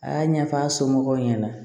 A y'a ɲɛfɔ a somɔgɔw ɲɛna